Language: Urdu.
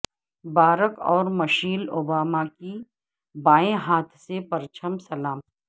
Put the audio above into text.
بارک اور مشیل اوباما کی بائیں ہاتھ سے پرچم سلام